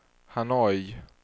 Hanoi